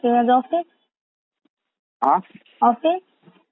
मग आज office, office